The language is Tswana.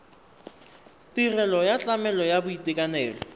tirelo ya tlamelo ya boitekanelo